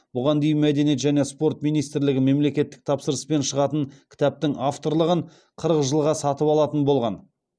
бұған дейін мәдениет және спорт министрлігі мемлекеттік тапсырыспен шығатын кітаптың авторлығын қырық жылға сатып алатын болған